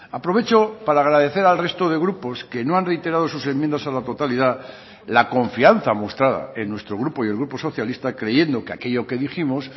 aprovecho para agradecer al resto de grupos que no han reiterado sus enmiendas a la totalidad la confianza mostrada en nuestro grupo y el grupo socialista creyendo que aquello que dijimos